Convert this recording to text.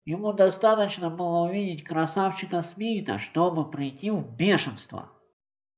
ему достаточно было увидеть красавчика смита чтобы прийти в бешенство